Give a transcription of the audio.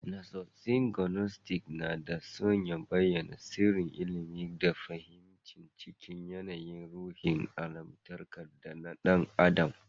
Nassosin Gnostic na dā sun bayyAna sirrin ilimi da fahimi cikin yAnayin ruhin allahntaka da na ɗan adam